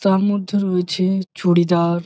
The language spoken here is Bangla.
তার মধ্যে রয়েছে চুড়িদার।